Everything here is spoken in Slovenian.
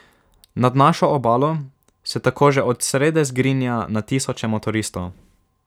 Nad našo obalo se tako že od srede zgrinja na tisoče motoristov.